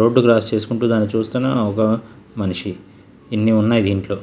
Road cross చేసుకుంటూ దాన్ని చూస్తున్న ఒక మనిషి ఇన్ని ఉన్నాయి దీంట్లో.